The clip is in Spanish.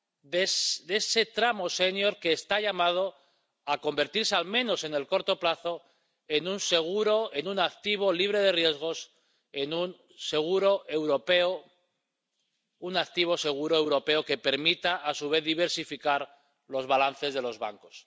de ese tramo sénior que está llamado a convertirse, al menos en el corto plazo, en un seguro, en un activo libre de riesgos, en un activo seguro europeo que permita a su vez diversificar los balances de los bancos.